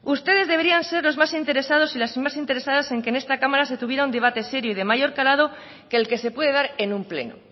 ustedes deberían ser los más interesados y las más interesadas en que en esta cámara se tuviera un debate serio y de mayor calado que el que se puede dar en un pleno